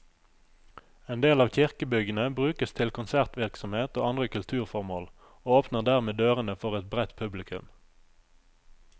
En del av kirkebyggene brukes til konsertvirksomhet og andre kulturformål, og åpner dermed dørene for et bredt publikum.